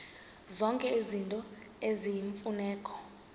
zonke izinto eziyimfuneko